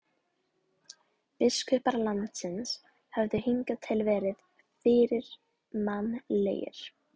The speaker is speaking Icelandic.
Biskupar landsins höfðu hingað til verið fyrirmannlegir.